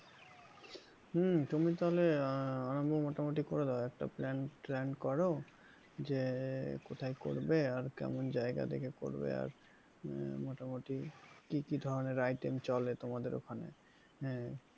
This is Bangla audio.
হম তুমি তাহলে আরম্ভ মোটামুটি করে দাও একটা plan ট্যান কর যে কোথায় করবে আর কেমন জায়গা দেখে করবে আর আহ মোটামুটি কি কি ধরনের item চলে তোমাদের ওখানে হ্যাঁ,